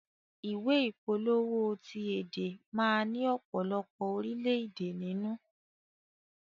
Ìwé ìpolówó ti èdè má ni ọ̀pọ̀lọpọ̀ orilẹ èdè nínú.